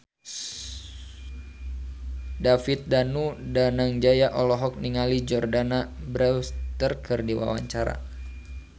David Danu Danangjaya olohok ningali Jordana Brewster keur diwawancara